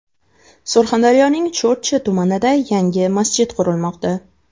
Surxondaryoning Sho‘rchi tumanida yangi masjid qurilmoqda .